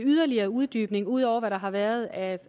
yderligere uddybning ud over hvad der har været af